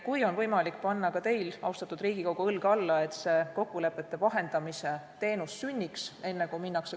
Kui teil, austatud Riigikogu, on võimalik panna õlg alla, et see kokkulepete vahendamise teenus sünniks, siis oleks väga hea.